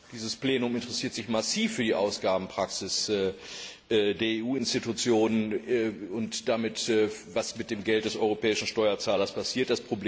Dieses Plenum interessiert sich massiv für die Ausgabenpraxis der EU Institutionen und dafür, was mit dem Geld des europäischen Steuerzahlers passiert.